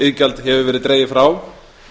lífeyrissjóðsiðgjald hefur verið dregið frá